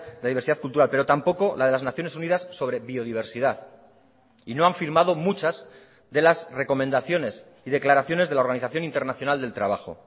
la diversidad cultural pero tampoco la de las naciones unidas sobre biodiversidad y no han firmado muchas de las recomendaciones y declaraciones de la organización internacional del trabajo